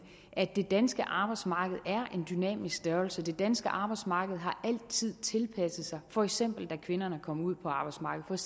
at det danske arbejdsmarked er en dynamisk størrelse det danske arbejdsmarked har altid tilpasset sig for eksempel da kvinderne kom ud på arbejdsmarkedet